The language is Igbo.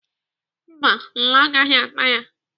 Mba, nla agaghị ata ya.